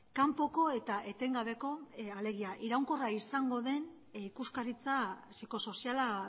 kanpoko eta etengabeko alegia iraunkorra izango den ikuskaritza psikosoziala